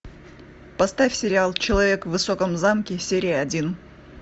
поставь сериал человек в высоком замке серия один